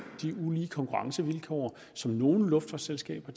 de ulige konkurrencevilkår som nogle luftfartsselskaber